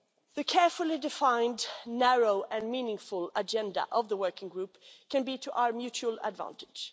The carefully defined, narrow and meaningful agenda of the working group can be to our mutual advantage.